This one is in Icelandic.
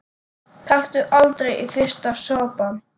Taktu aldrei fyrsta sopann!